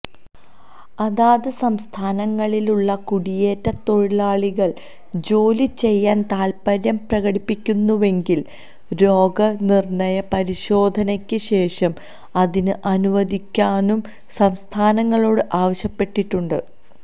അതാത് സംസ്ഥാനങ്ങളിലുള്ള കുടിയേറ്റ തൊഴിലാളികള് ജോലിചെയ്യാന് താത്പര്യം പ്രകടിപ്പിക്കുന്നുവെങ്കില് രോഗ നിര്ണയ പരിശോധനയ്ക്ക് ശേഷം അതിന് അനുവദിക്കാനും സംസ്ഥാനങ്ങളോട് ആവശ്യപ്പെട്ടിട്ടുണ്ട്